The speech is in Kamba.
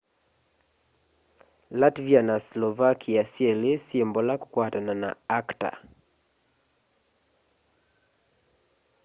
latvia na slovakia syeli syi mbola kukwatana na acta